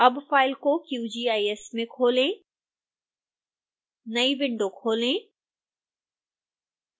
अब फाइल को qgis में खोलें नई विंडो खोलें